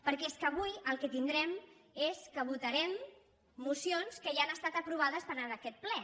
perquè és que avui el que tin·drem és que votarem mocions que ja han estat apro·vades per aquest ple